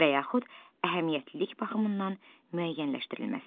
Və yaxud əhəmiyyətlilik baxımından müəyyənləşdirilməsi.